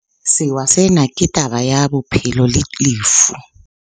Sewa sena ke taba ya bophelo le lefu.